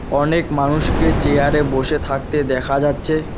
অনেক মানুষকে চেয়ারে বসে থাকতে দেখা যাচ্ছে।